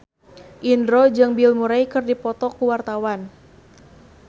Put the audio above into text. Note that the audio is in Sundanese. Indro jeung Bill Murray keur dipoto ku wartawan